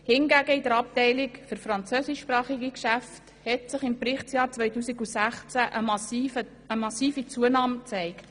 Hingegen hat sich in der Abteilung für französischsprachige Geschäfte im Berichtsjahr 2016 eine massive Zunahme gezeigt.